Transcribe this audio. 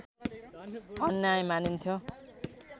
अन्याय मानिन्थ्यो